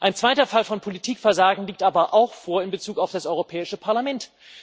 Ein zweiter Fall von Politikversagen liegt aber auch vor in Bezug auf das Europäische Parlament.